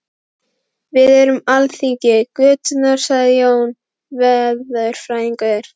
Við erum alþingi götunnar sagði Jón veðurfræðingur.